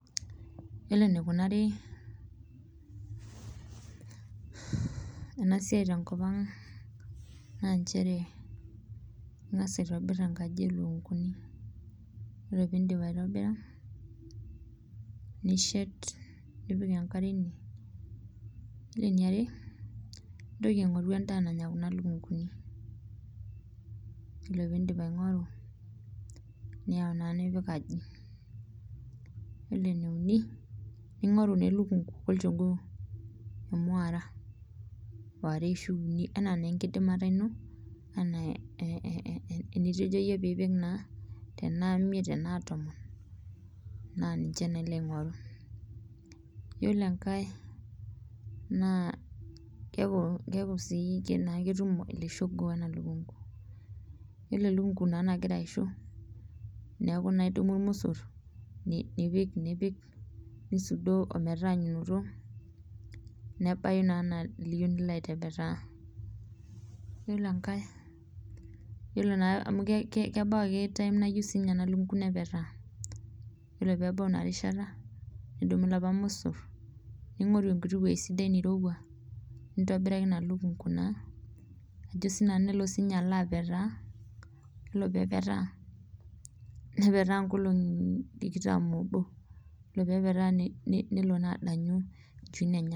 Yiolo enikunari ena siai ntekopang naa nchere ,ingas aitobir enkaji olukunkuni oree pee indipa aitobira, nishet nipik enkare ine ,ore eniare nintoki aingoru endaa nanya kuna lukunguni ,ore pee indip aingoru ,niyau naa nipik atwaaji ,yiolo naa eneuni ningoru elukunku olchogoo ,emweera ware orashu uni enaa naa enkidimata ino ena enitejo iyie pe ipik naa tena imeit tena tomon naa ninche naa ilo aingoru .ore enkae naa keeku sii ketumoki ele shogoo wena lukunku ,ore naa elukunku nagira aisho neeku naa idumu irmosor nisudoo metaanyunoto ometaba naa enaa liyieu nilo aitepetaa, yiolo enkae amu kebau ake siininye [cs[]time nayieu ena lukunku nepetaa ore pee ebau ina rishata nidumu lapa mosor ningoru enkiti weji sidai neirowua nintepetaa ina lukunku naa ajo sii nanu nelo siininye alo apetaa ,yiolo pee epetaa ,nepetaa nkolongi tikitam oobo ,nelo naa adanyu nchuin enyenak.